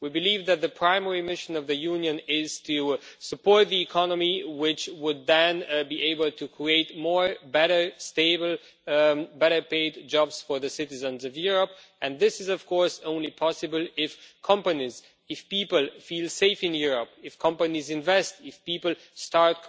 We believe that the primary mission of the Union is to support the economy, which would then be able to create more, better, stable, better paid jobs for the citizens of Europe, and this is of course only possible if people feel safe in Europe, if companies invest, if people start